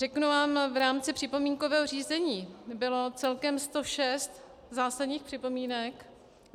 Řeknu vám, v rámci připomínkového řízení bylo celkem 106 zásadních připomínek.